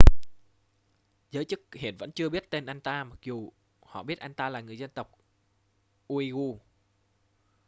giới chức hiện vẫn chưa biết tên anh ta mặc dù họ biết anh ta là người dân tộc uighur